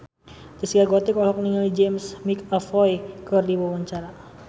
Zaskia Gotik olohok ningali James McAvoy keur diwawancara